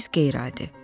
Siz qeyri-adi.